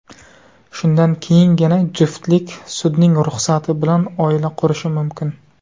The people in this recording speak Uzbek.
Shundan keyingina juftlik sudning ruxsati bilan oila qurishi mumkin.